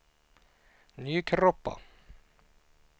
Nykroppa